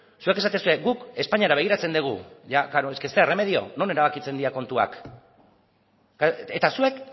zuek esaten duzue guk espainiara begiratzen dugu ia klaro es que zer erremedio non erabakitzen dira kontuak eta zuek